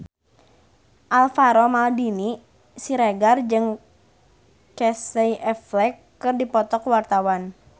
Alvaro Maldini Siregar jeung Casey Affleck keur dipoto ku wartawan